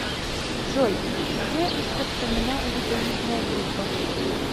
джой где распространена веддоидная группа